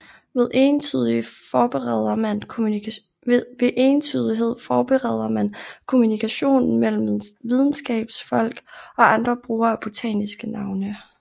Ved entydighed forbedrer man kommunikationen mellem videnskabsfolk og andre brugere af botaniske navne